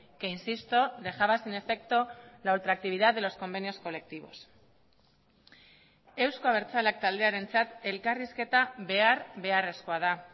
que insisto dejaba sin efecto la ultra actividad de los convenios colectivos euzko abertzaleak taldearentzat elkarrizketa behar beharrezkoa da